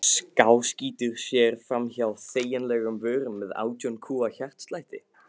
Skáskýtur sér framhjá þegjandalegum vörunum með átján kúa hjartslætti.